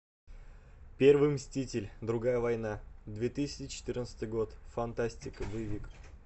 первый мститель другая война две тысячи четырнадцатый год фантастика боевик